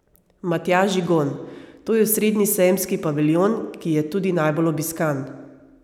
Matjaž Žigon: "To je osrednji sejemski paviljon, ki je tudi najbolj obiskan.